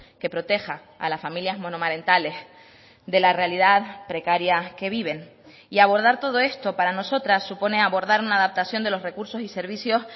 que proteja a las familias monomarentales de la realidad precaria que viven y abordar todo esto para nosotras supone abordar una adaptación de los recursos y servicios